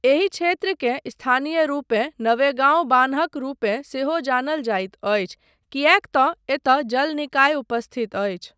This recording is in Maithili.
एहि क्षेत्रकेँ स्थानीय रूपें नवेगाँव बान्हक रूपे सेहो जानल जाइत अछि किएकतँ एतय जल निकाय उपस्थित अछि।